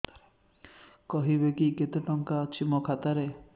କହିବେକି କେତେ ଟଙ୍କା ଅଛି ମୋ ଖାତା ରେ